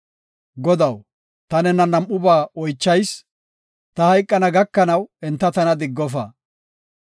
Godaw, ta nena nam7ubba oychayis; ta hayqana gakanaw enta tana diggofa.